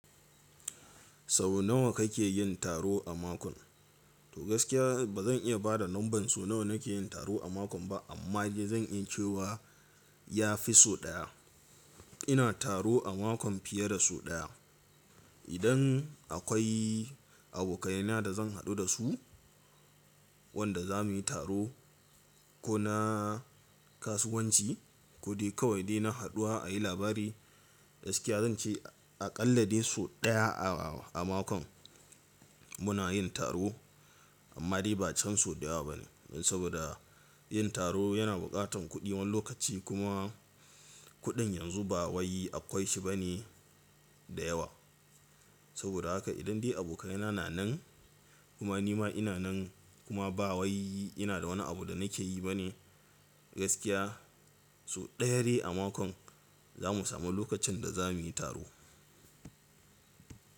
Sau nawa kake yin taro a mako? To gaskiya ba zan iya ba da lambar su nawa nake yin taro a mako ba amma zan iya cewa ya fi sau ɗaya. Ina taro a mako fiye da sau ɗaya. Idan akwai abokaina da zan haɗu da su wanda za mu yi taro ko na kasuwanci ko dai kawai dai na haɗuwa a yi labari gaskiya zan ce a ƙalla dai sau ɗaya a mako muna yin taro amma dai ba can sau ɗaya ba ne saboda yin taro yana buƙatan kuɗi wani lokaci kuma kuɗin yanzu ba wai akwai shi bane da yawa. Saboda haka idan dai abokaina na nan kuma ni ma ina nan kuma ba wai ina da wani abu da nake yi bane gaskiya sau ɗaya dai a mako za mu samu lokacin da za mu yi taro.